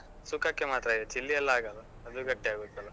ಹ ಸುಕ್ಕಕ್ಕೆ ಮಾತ್ರ, chilli ಎಲ್ಲ ಆಗಲ್ಲ. ಅದು ಗಟ್ಟಿಯಾಗುತ್ತಲ್ಲಾ?